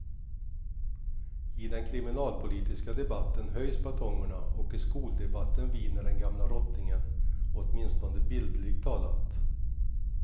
I den kriminalpolitiska debatten höjs batongerna och i skoldebatten viner den gamla rottingen, åtminstone bildligt talat.